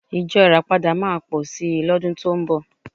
Ìjọ Ìràpadà máa pọ̀ sí lọ́dún tó ń bọ̀